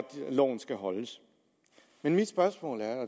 loven skal holdes men mit spørgsmål er